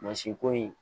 Mansin ko in